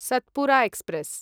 Satpura express